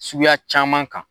Suguya caman kan.